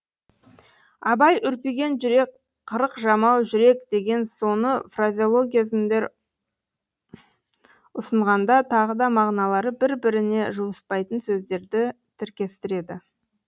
абай үрпиген жүрек қырық жамау жүрек деген соны фразеологизмдер ұсынғанда тағы да мағыналары бір біріне жуыспайтын сөздерді тіркестіреді